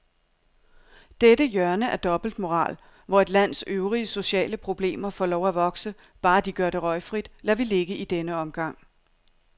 Dette hjørne af dobbeltmoral, hvor et lands øvrige sociale problemer får lov at vokse, bare de gør det røgfrit, lader vi ligge i denne omgang.